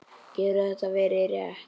Getur þetta verið rétt?